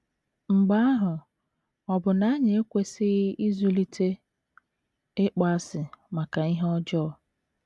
Mgbe ahụ, ọ̀ bụ na anyị ekwesịghị ịzụlite ịkpọasị maka ihe ọjọọ?